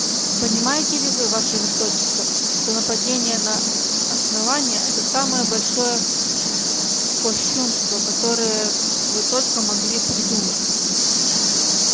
понимаете ли вы ваше высочество что нападение на основание это самое большое кощунство которое вы только могли придумать